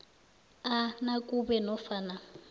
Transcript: a nakube nofana